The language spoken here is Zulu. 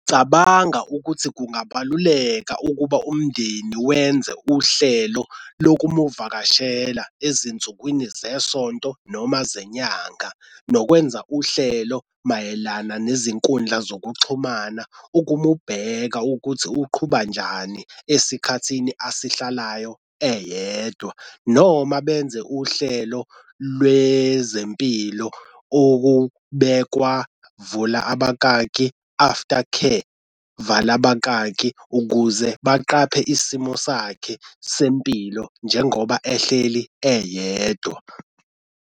Cabanga ukuthi kungabaluleka ukuba umndeni wenze uhlelo lokumuvakashela ezinsukwini zesonto noma zenyanga nokwenza uhlelo mayelana nezinkundla zokuxhumana ukumubheka ukuthi uqhuba njani esikhathini asihlalayo eyedwa, noma benze uhlelo lwezempilo okubekwa vula abakaki after care vala abakaki ukuze baqaphe isimo sakhe sempilo njengoba ehleli eyedwa.